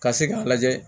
Ka se k'a lajɛ